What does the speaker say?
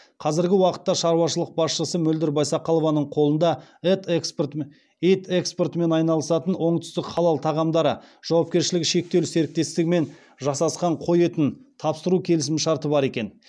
қазіргі уақытта шаруашылық басшысы мөлдір байсақалованың қолында ет экспортымен айналысатын оңтүстік халал тағамдары жауапкершілігі шектеулі серіктестігімен жасасқан қой етін тапсыру келісімшарты бар екен